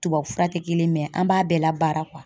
Tubabufura tɛ kelen ye an b'a bɛɛ labaara